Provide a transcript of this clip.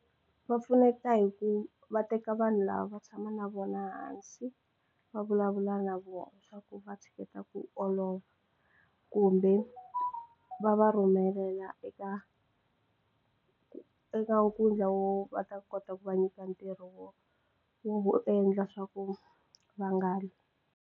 Va pfuneta hi ku va teka vanhu lava va tshama na vona hansi va vulavula na vona swa ku vatshiketa ku kumbe va va rhumelela eka eka wo va ta kota ku va nyika ntirho wo wo wo endla swa ku va nga .